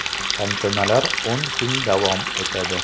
Tantanalar o‘n kun davom etadi.